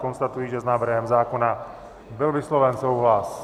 Konstatuji, že s návrhem zákona byl vysloven souhlas.